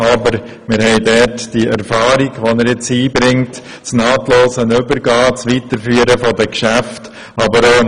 Aber wir haben die Erfahrung, die er einbringt, und die nahtlose Weiterführung der Geschäfte mitberücksichtigt.